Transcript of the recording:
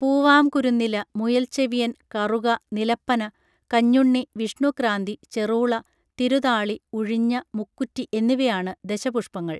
പൂവാംകുരുന്നില മുയൽച്ചെവിയൻ കറുക നിലപ്പന കഞ്ഞുണ്ണി വിഷ്ണുക്രാന്തി ചെറൂള തിരുതാളി ഉഴിഞ്ഞ മുക്കുറ്റി എന്നിവയാണു ദശപുഷ്പങ്ങൾ